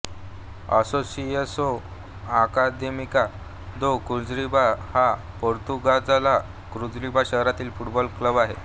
असोसिएसाओ Académica de Coimbra हा पोर्तुगालच्या Coimbra शहरातील फुटबॉल क्लब आहे